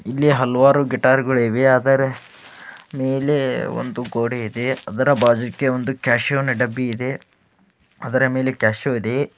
ಇಲ್ಲಿ ಹಲವಾರು ಗಿಟಾರ್ ಗಳಿವೆ ಆದರೆ ಮೇಲೆ ಒಂದು ಗೋಡೆ ಇದೆ ಅದರ ಭಾಗಕ್ಕೆ ಒಂದು ಕ್ಯಾಸಿಯೋ ಡಬ್ಬಿಯಿದೆ ಅದರ ಮೇಲೆ ಕ್ಯಾಷಿಯೋ ಇದೆ.